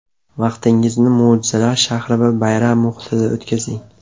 Vaqtingizni mo‘jizalar shahri va bayram muhitida o‘tkazing.